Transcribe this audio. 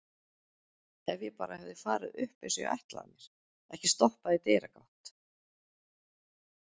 Ef ég bara hefði farið upp eins og ég ætlaði mér, ekki stoppað í dyragátt.